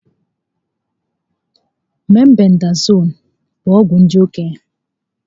Mebendazool bụ ọgwụ ndị okenye